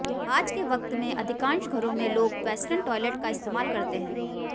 आज के वक्त में अधिकांश घरों में लोग वेस्टर्न टॉयलेट का इस्तेमाल करते हैं